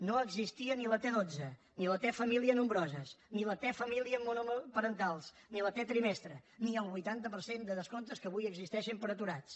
no existia ni la t dotze ni la t famílies nombroses ni la t famílies monoparentals ni la t trimestre ni el vuitanta per cent de descomptes que avui existeixen per a aturats